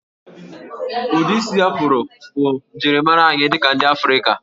Ụdị isi Afro bụ njirimara anyị dị ka ndị Afrịka